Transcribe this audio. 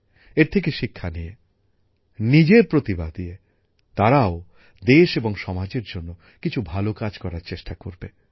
এর থেকে শিক্ষা নিয়ে নিজের প্রতিভা দিয়ে তারাও দেশ এবং সমাজের জন্য কিছু ভালো কাজ করার চেষ্টা করবে